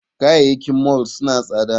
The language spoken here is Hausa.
Kayayyakin mall suna tsada